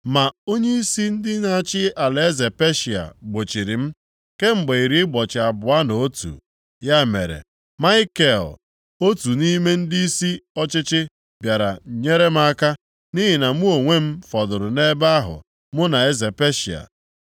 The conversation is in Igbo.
Ma onyeisi ndị na-achị alaeze Peshịa gbochiri m, kemgbe iri ụbọchị abụọ na otu. Ya mere, Maikel, otu nʼime ndịisi ọchịchị bịara nyere m aka, nʼihi na mụ onwe m fọdụrụ nʼebe ahụ mụ na eze Peshịa.